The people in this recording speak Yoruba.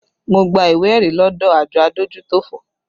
Mo gba ìwé ẹ̀rí lọdọ àjọ adójútòfò